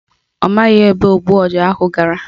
Ọ maghị ebe ogbu ọja ahụ gara